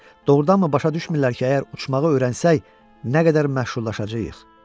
Doğrudanmı başa düşmürlər ki, əgər uçmağı öyrənsək, nə qədər məşhurlaşacağıq?